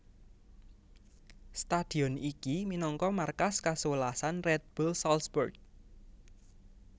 Stadion iki minangka markas kasewelasan Red Bull Salzburg